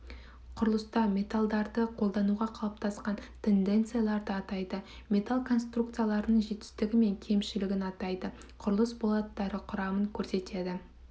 құрылыста металдарды қолдануға қалыптасқан тенденцияларды атайды металл конструкцияларының жетістігі мен кемшілігін атайды құрылыс болаттары құрамын көрсетеді